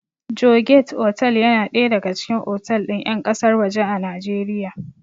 Joygate otal yana ɗaya daga cikin otal ɗin ƴan ƙasar waje a Najeriya